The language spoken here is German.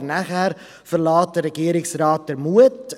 Aber danach verlässt den Regierungsrat der Mut.